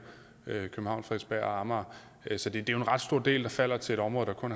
amager så det er jo en ret stor del der falder til et område der kun